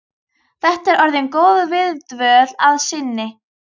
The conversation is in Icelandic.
Þetta er orðin góð viðdvöl að sinni.